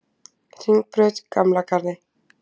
Hringbraut Gamla Garði